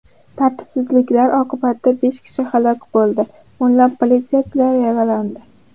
Tartibsizliklar oqibatida besh kishi halok bo‘ldi, o‘nlab politsiyachilar yaralandi.